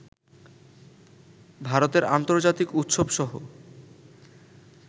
ভারতের আন্তর্জাতিক উৎসবসহ